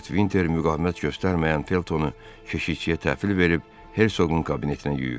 Lord Vinter müqavimət göstərməyən Feltonu keşiyə təhvil verib Hersoqun kabinetinə yönəldi.